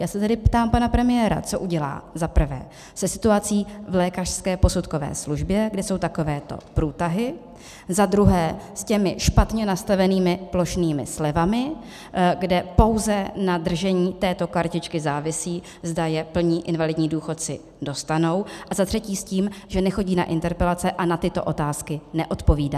Já se tedy ptám pana premiéra, co udělá - za prvé - se situací v lékařské posudkové službě, kde jsou takovéto průtahy, za druhé s těmi špatně nastavenými plošnými slevami, kde pouze na držení této kartičky závisí, zda je plní invalidní důchodci dostanou, a za třetí s tím, že nechodí na interpelace a na tyto otázky neodpovídá.